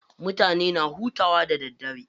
Mutane na hutawa da daddare.